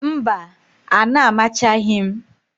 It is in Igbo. Mba, a na-amachaghị m